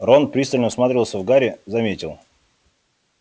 рон пристально всматривался в гарри заметил